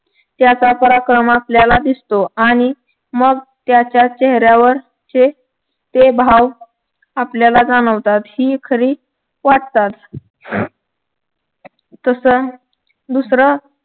त्याचा पराक्रम आपल्याला दिसतो आणि मग त्याच्या चेहऱ्यावर चे ते भाव आपल्याला जाणवतात ही खरी वाटचाल तस दुसरं